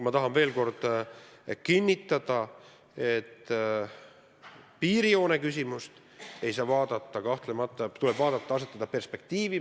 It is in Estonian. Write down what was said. Ma tahan veel kord kinnitada, et piirijoone küsimust kahtlemata tuleb vaadata perspektiivis.